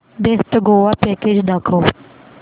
best Goa package दाखव